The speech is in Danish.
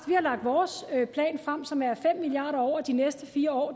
vi har lagt vores plan frem som er fem milliard kroner over de næste fire år